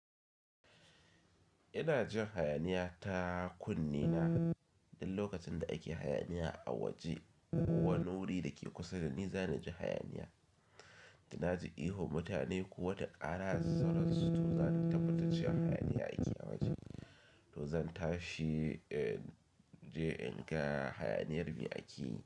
Ina jin hayaniya ta kunne na, duk lokacin da ake hayaniya a waje ko wani wuri da ke kusa da ni, zana ji hayaniya. Da na ji ihu mutane ko wata ƙara zara da sauran su, to zan tabbata cewa hayaniya ake a waje. To zan tashi je in ga hayaniyar me ake yi?